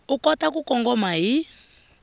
u kota ku kongoma hi